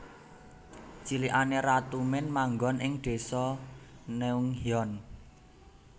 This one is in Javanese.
Cilikane Ratu Min manggon ing Désa Neunghyeon